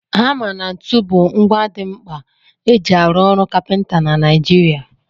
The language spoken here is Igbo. Hama na ntu bụ ngwa dị mkpa eji arụ ọrụ kapịnta na Naịjirịa.